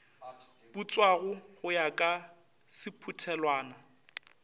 putswago go ya ka sephuthelwana